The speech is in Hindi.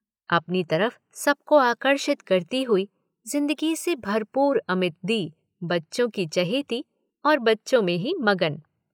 अपनी तरफ सबको आकर्षित करती हुई ज़िंदगी से भरपूर अमित दी बच्चों की चहेती और बच्चों में ही मगन।